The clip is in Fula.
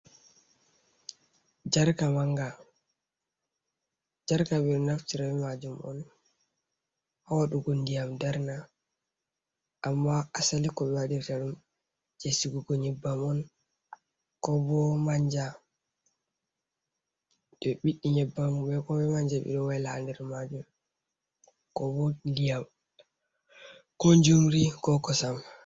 Jarka ɓe naftira bee maajum on haa waɗugo ndiyam darna, amma asali ko ɓe waɗirta ɗum jey sigugo nyebbam on koo boo manja. To ɓe ɓiɗɗi nyebbam koo manja, ɓe ɗo wayla haa nder maajum koo boo ndiyam ko jumri ko kosam.